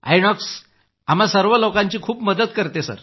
आयनॉक्स आम्हा लोकांची खूप मदत करते